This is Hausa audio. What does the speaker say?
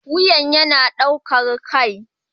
Wuyan yana ɗaukar kai